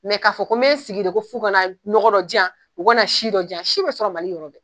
Mɛ k'a fɔ ko n be sigi de ko f'u ka na nɔgɔ dɔ jiyan u ka na si dɔ jiyan si be sɔrɔ mali yɔrɔ bɛ